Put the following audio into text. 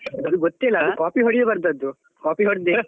ಅದು ಗೊತ್ತಿಲ್ಲ copy ಹೊಡಿ ಬರ್ದದ್ದು. copy ಹೋಡ್ಡೆ.